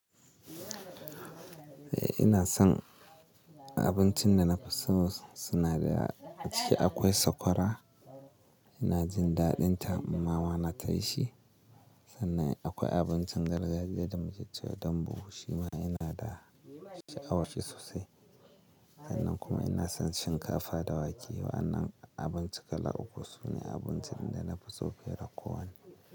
Eh ina son abincin da na fi so daga ciki akwai sakwara ina jin daɗinta mama na tana yin shi. Sannan akwai abincin gargajiya da muke cewa dambu shima ina da sha'awar shi sosai. Sannan kuma ina son shinkafa da wake. Wa'annan abincin kala uku sune abincin da na fi so fiye da kowanne.